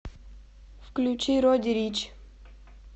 включи родди рич